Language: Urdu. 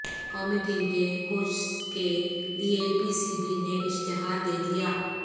قومی ٹیم کے کوچز کے لیے پی سی بی نے اشتہار دے دیا